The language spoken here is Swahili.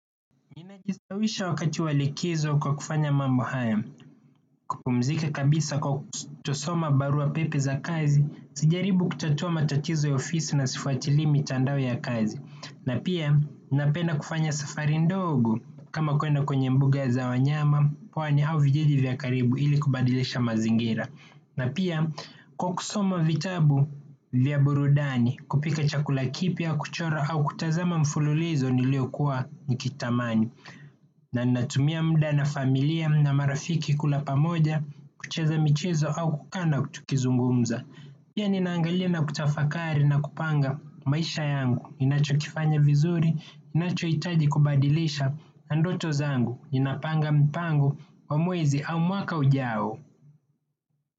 Nimejistawisha wakati wa likizo kwa kufanya mambo haya, kupumzika kabisa kwa kutosoma barua pepe za kazi, sijaribu kutatua matatizo ya ofisi na sifuatilii mitandao ya kazi. Na pia, napenda kufanya safari ndogo kama kuenda kwenye mbuga za wanyama, pwani au vijiji vya karibu ili kubadilisha mazingira. Na pia, kwa kusoma vitabu vya burudani kupika chakula kipya kuchora au kutazama mfululizo niliokuwa nikitamani. Na ninatumia muda na familia na marafiki kula pamoja, kucheza michezo au kukaa na tukizungumza. Pia ninaangalia na kutafakari na kupanga maisha yangu, ninachokifanya vizuri, inachohitaji kubadilisha na ndoto zangu, ninapanga mpango, wa mwezi au mwaka ujao.